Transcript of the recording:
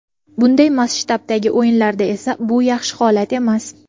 Bunday masshtabdagi o‘yinlarda esa bu yaxshi holat emas.